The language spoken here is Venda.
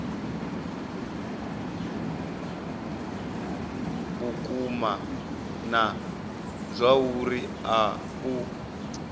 vhukuma na zwauri a u